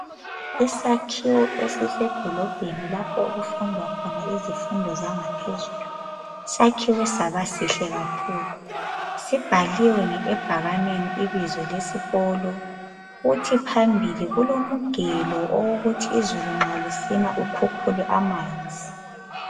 isakhiwo esisedolobheni lapho okufundwa khona izifundo zangaphezulu sakhiwe sabasihle kakhulu sibhaliwe ebhakaneni ibizo lesikolo kuhi phambili kulomugelo owokuthi nxa izulu lisina ukhukhule amanzi